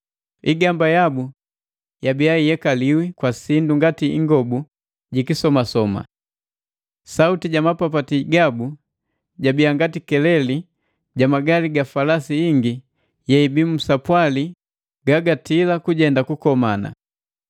Igamba yabu yabia iyekaliwi kwa sindu ngati ingobu ji kisomasoma. Sauti ja mapapati gabu jabia ngati keleli jamagali ga falasi ingi yeibii nsapwali ga gatili kujenda ku kukomana.